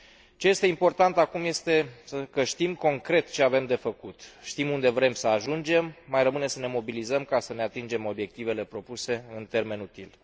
Ce este important acum este că știm concret ce avem de făcut, știm unde vrem să ajungem, mai rămâne să ne mobilizăm ca să ne atingem obiectivele propuse în termen util.